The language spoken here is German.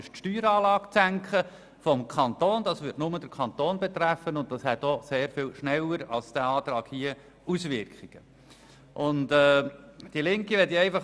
Diese Änderung würde nur den Kanton betreffen, und sie hat auch sehr viel schneller Auswirkungen als der vorliegende Antrag.